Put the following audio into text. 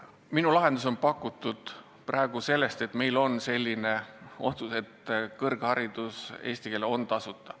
Minu lahendus lähtub praegu sellest, et meil on langetatud poliitiline otsus, et eestikeelne kõrgharidus on tasuta.